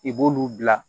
I b'olu bila